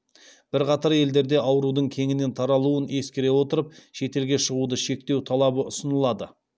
бірқатар елдерде аурудың кеңінен таралуын ескере отырып шетелге шығуды шектеу талабы ұсынылады